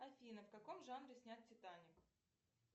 афина в каком жанре снят титаник